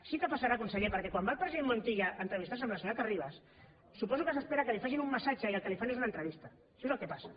sí que passarà conseller perquè quan va el president montilla a entrevistar se amb la senyora terribas suposo que s’espera que li facin un massatge i el que li fan és una entrevista això és el que passa